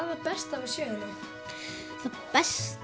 það besta við söguna það besta